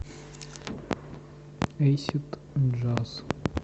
эйсид джаз